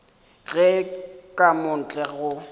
ge ka mo ntle go